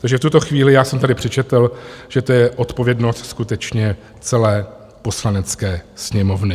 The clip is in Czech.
Takže v tuto chvíli já jsem tady přečetl, že to je odpovědnost skutečně celé Poslanecké sněmovny.